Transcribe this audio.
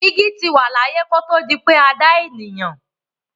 Igi ti wà láyé kí ó tó di pé a dá ènìyàn.